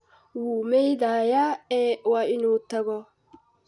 Wuu maydhayaa ee waa inuu tago.